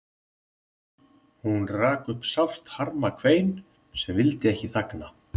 Hún rak upp sárt harmakvein sem vildi ekki þagna.